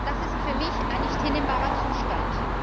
Das ist für mich ein nicht hinnehmbarer Zustand.